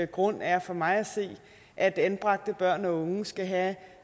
grund er for mig at se at anbragte børn og unge skal have